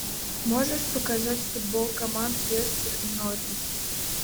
можешь показать футбол команд лестер и норвич